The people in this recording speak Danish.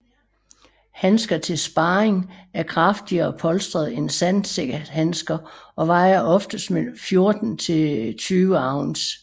Handsker til sparring er kraftigere polstret end sandsækhandsker og vejer mellem oftest 14 til 20 oz